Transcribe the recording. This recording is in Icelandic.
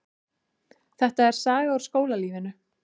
Þetta er saga úr skólalífinu.